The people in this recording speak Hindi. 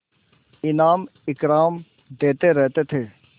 इनाम इकराम देते रहते थे